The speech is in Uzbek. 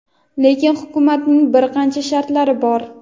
lekin hukumatning bir qancha shartlari bor.